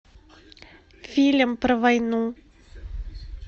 фильм про войну